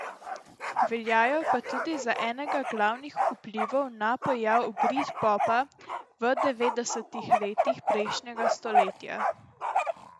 Veljajo pa tudi za enega glavnih vplivov na pojav britpopa v devetdesetih letih prejšnjega stoletja.